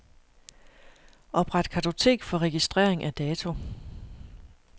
Opret kartotek for registrering af dato.